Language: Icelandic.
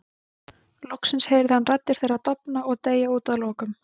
Loksins heyrði hann raddir þeirra dofna og deyja út að lokum.